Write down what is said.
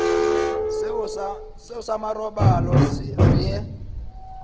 seo sa marobalo re ye